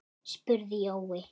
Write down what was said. spurði Jói.